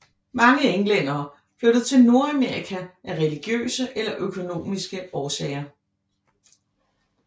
Mange englændere flyttede til Nordamerika af religiøse eller økonomiske årsager